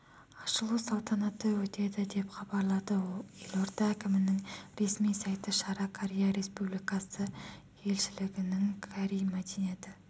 ашылу салтанаты өтеді деп хабарлады елорда әкімінің ресми сайты шара корея республикасы елшілігінің корей мәдени